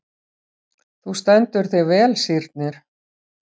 Þú stendur þig vel, Sírnir!